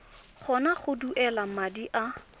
kgona go duela madi a